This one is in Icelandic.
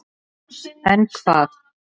En hvað?